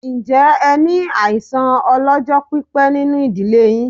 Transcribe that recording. Ǹjẹ́ ẹ ní àìsàn ọ lọ́jọ́ pípé nínú ìdílé yín?